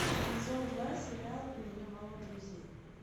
сезон два сериал у меня мало друзей